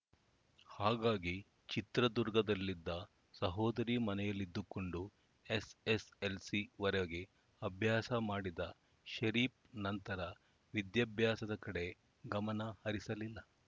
ಹಾಗಾಗಿ ಚಿತ್ರದುರ್ಗದಲ್ಲಿದ್ದ ಸಹೋದರಿ ಮನೆಯಲ್ಲಿದ್ದುಕೊಂಡು ಎಸ್‌ಎಸ್‌ಎಲ್‌ಸಿ ವರೆಗೆ ಅಭ್ಯಾಸ ಮಾಡಿದ ಷರೀಫ್‌ ನಂತರ ವಿದ್ಯಾಭ್ಯಾಸದ ಕಡೆ ಗಮನ ಹರಿಸಲಿಲ್ಲ